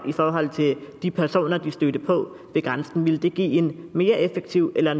i forhold til de personer de stødte på ved grænsen ville det give en mere effektiv eller